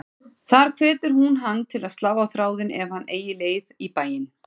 Þar hvetur hún hann til að slá á þráðinn ef hann eigi leið í bæinn.